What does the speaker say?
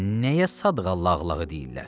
Nəyə Sadığa Lağlağı deyirlər?